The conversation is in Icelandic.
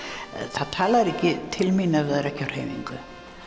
það talar ekki til mín ef það er ekki á hreyfingu